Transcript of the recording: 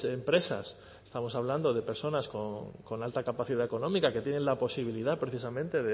empresas estamos hablando de personas con alta capacidad económica que tienen la posibilidad precisamente